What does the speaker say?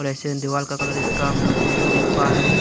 दीवाल का कलर इसका हम लोग येलो देख पा रहे हैं।